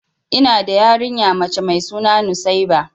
Ina da yarinya mace mai suna nusaiba.